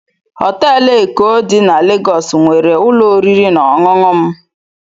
Họteelụ Eko dị na Legọs nwere ụlọ oriri na ọṅụṅụ m.